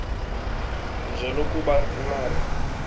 nje lokuba ulale